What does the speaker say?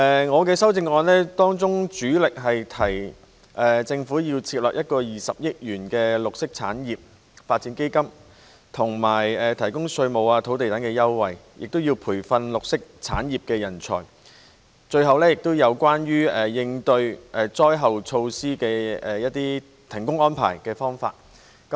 我的修正案主力提出政府要設立一個20億元的綠色產業發展基金、提供稅務和土地等優惠、培訓綠色產業人才，以及制訂災難應變措施和災後停工安排。